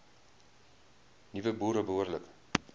nuwe boere behoorlik